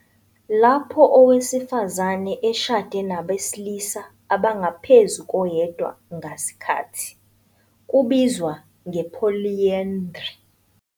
Lapho owesifazane eshade nabesilisa abangaphezu koyedwa ngasikhathi, kubizwa nge- polyandry.